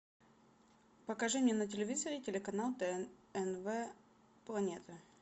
покажи мне на телевизоре телеканал тнв планета